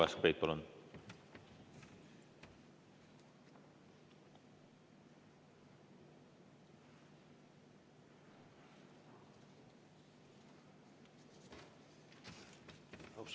Uno Kaskpeit, palun!